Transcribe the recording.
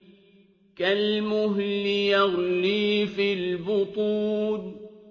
كَالْمُهْلِ يَغْلِي فِي الْبُطُونِ